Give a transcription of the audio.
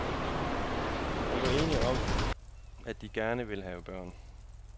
De var enige om, at de gerne ville have børn.